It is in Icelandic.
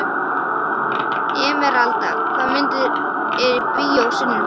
Emeralda, hvaða myndir eru í bíó á sunnudaginn?